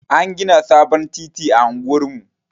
An gina sabon titi a unguwar mu.